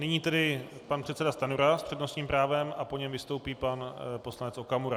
Nyní tedy pan předseda Stanjura s přednostním právem a po něm vystoupí pan poslanec Okamura.